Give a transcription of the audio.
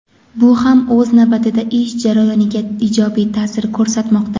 Bu ham o‘z navbatida ish jarayoniga ijobiy taʼsir ko‘rsatmoqda.